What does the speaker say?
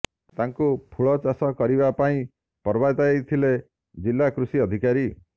ତାଙ୍କୁ ଫୁଳ ଚାଷ କରିବା ପାଇଁ ପ୍ରବର୍ତାଇ ଥିଲେ ଜିଲ୍ଲା କୃଷି ଅଧିକାରୀ